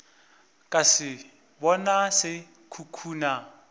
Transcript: ka se bona se khukhuna